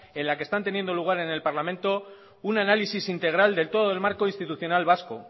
en la que están teniendo lugar en el parlamento un análisis integral de todo el marco institucional vasco